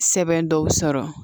Sɛbɛn dɔw sɔrɔ